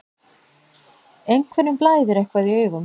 Einhverjum blæðir eitthvað í augum